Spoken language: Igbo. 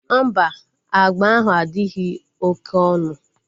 Mba, agba ahụ adịghị oké onu